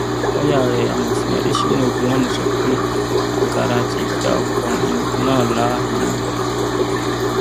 lọọyà rẹ amọfin adésínà ogunlànà sọ pé agara ti dá ọkùnrin náà láhàámọ